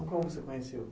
Como você conheceu?